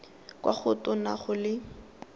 kwa go tona go le